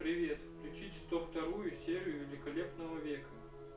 привет включить сто вторую серию великолепного века